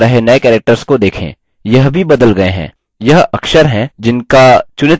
यह अक्षर हैं जिनका चुनित स्तर पर अभ्यास करना है